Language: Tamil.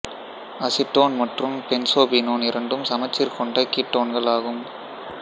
அசிட்டோன் மற்றும் பென்சோபீனோன் இரண்டும் சமச்சீர் கொண்ட கீட்டோன்கள் ஆகும்